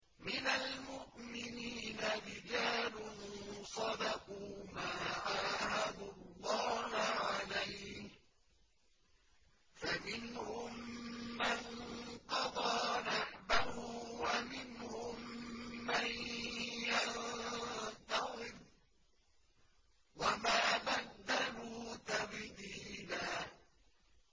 مِّنَ الْمُؤْمِنِينَ رِجَالٌ صَدَقُوا مَا عَاهَدُوا اللَّهَ عَلَيْهِ ۖ فَمِنْهُم مَّن قَضَىٰ نَحْبَهُ وَمِنْهُم مَّن يَنتَظِرُ ۖ وَمَا بَدَّلُوا تَبْدِيلًا